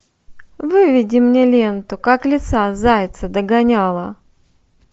выведи мне ленту как лиса зайца догоняла